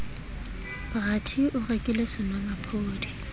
bra t o rekile senomaphodi